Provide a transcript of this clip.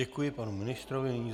Děkuji panu ministrovi.